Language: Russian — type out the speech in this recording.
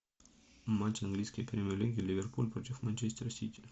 матч английской премьер лиги ливерпуль против манчестер сити